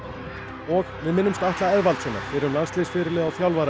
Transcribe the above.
og við minnumst Atla Eðvaldssonar fyrrum landsliðsfyrirliða og þjálfara